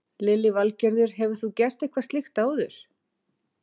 Lillý Valgerður: Hefur þú gert eitthvað slíkt áður?